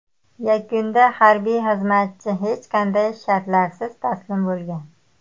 Yakunda harbiy xizmatchi hech qanday shartlarsiz taslim bo‘lgan.